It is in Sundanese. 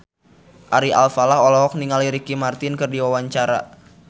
Ari Alfalah olohok ningali Ricky Martin keur diwawancara